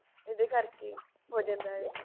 ਉਹਦੇ ਕਰਕੇ ਹੋ ਜਾਂਦਾ ਇਹ